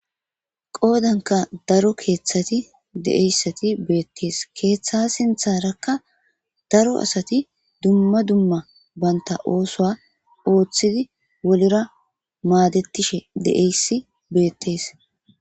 qoodanka daro keeththati de7eyssati beettees keeththa sintharakka daro asati dumma dumma banta oosoa ooththidi wolera maadettishe deeyssi beettees